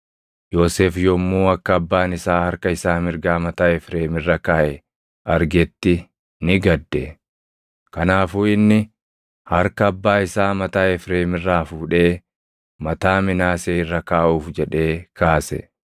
Yoosef yommuu akka abbaan isaa harka isaa mirgaa mataa Efreem irra kaaʼe argetti ni gadde; kanaafuu inni harka abbaa isaa mataa Efreem irraa fuudhee mataa Minaasee irra kaaʼuuf jedhee kaase.